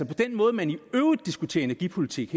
den måde man i øvrigt diskuterer energipolitik